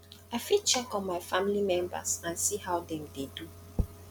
i fit check on my family members and see how dem dey do